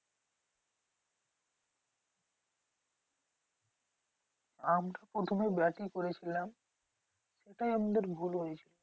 আমরা প্রথমে ব্যাটই করেছিলাম। ওটাই আমাদের ভুল হয়েছিল।